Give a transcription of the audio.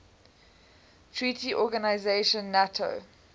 treaty organisation nato